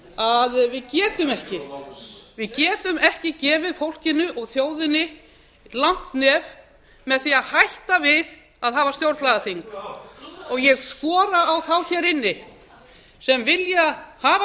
að við getum ekki við getum ekki gefið fólkinu og þjóðinni langt nef með því að hætta við að hafa stjórnlagaþing ég skora á þá hér inni sem vilja hafa